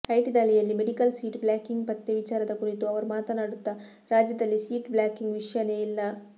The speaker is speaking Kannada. ಐಟಿ ದಾಳಿಯಲ್ಲಿ ಮೆಡಿಕಲ್ ಸೀಟು ಬ್ಲಾಕಿಂಗ್ ಪತ್ತೆ ವಿಚಾರದ ಕುರಿತು ಅವರು ಮಾತನಾಡುತ್ತಾ ರಾಜ್ಯದಲ್ಲಿ ಸೀಟ್ ಬ್ಲಾಕಿಂಗ್ ವಿಷ್ಯನೇ ಇಲ್ಲ